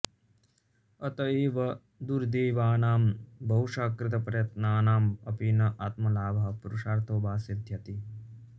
अतः एव दुर्दैवानां बहुशः कृतप्रयत्नानां अपि न आत्मलाभः पुरुषार्थो वा सिद्ध्यति